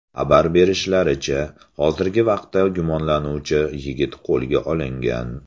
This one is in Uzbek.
Xabar berishlaricha, hozirgi vaqtda gumonlanuvchi yigit qo‘lga olingan.